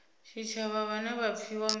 tshitshavha vhane vha pfiwa nga